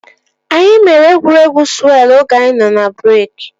Anyị mere egwuregwu sụwelụ oge anyị nọ n'breeki